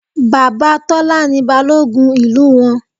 Bàbá Tọ́lá ni Balógun ìlú wọn